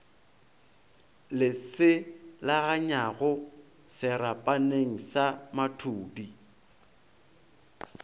le selaganyago serapaneng sa mathudi